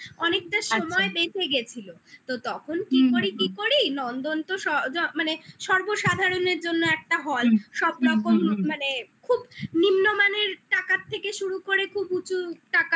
অনেকটা আচ্ছা সময় বেঁধে গিয়েছিল তো তখন হুম হুম কি করি কি করি নন্দন তো মানে সর্ব সাধারণের জন্য একটা hall হুম সব হুম হুম রকম মানে খুব নিম্নমানের টাকার থেকে শুরু করে খুব উঁচু টাকারও